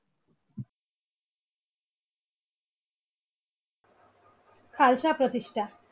Khalsa প্রতিস্থা